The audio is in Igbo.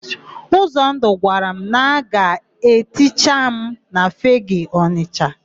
Ụzọndụ gwara m na a ga-eticha m na Fegee Ọnịsha.